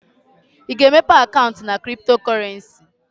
Ị ga-emepe akaụntụ na cryptocurrency?